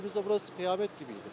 Gəldiyimizdə burası qiyamət kimiydi.